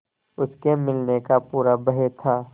उसके मिलने का पूरा भय था